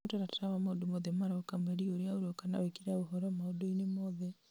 he mũtaratara wa maũndũ mothe maroka mweri ũrĩa ũroka na wĩkĩre ũhoro maũndũ-inĩ mothe